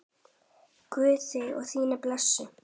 Guð þig og þína blessi.